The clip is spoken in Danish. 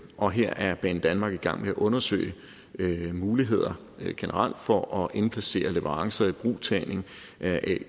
og her er banedanmark i gang med at undersøge mulighederne generelt for at indplacere leverance og ibrugtagning af